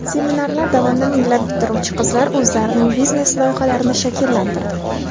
Seminarlar davomida minglab bitiruvchi qizlar o‘zlarining biznes loyihalarini shakllantirdi”.